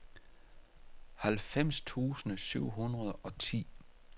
halvfems tusind syv hundrede og ti